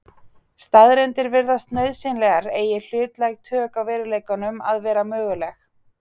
Staðreyndir virðast nauðsynlegar eigi hlutlæg tök á veruleikanum að vera möguleg.